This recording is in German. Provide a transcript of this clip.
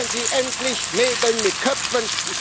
Machen Sie endlich Nägel mit Köpfen!